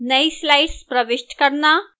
नई slides प्रविष्ट करना